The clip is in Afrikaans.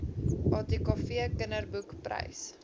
atkv kinderboek prys